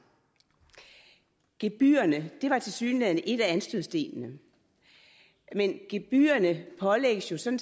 gebyrerne var tilsyneladende en af anstødsstenene men gebyrerne pålægges jo som